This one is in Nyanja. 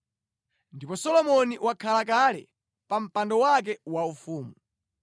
Ndipo Solomoni wakhala kale pa mpando wake waufumu.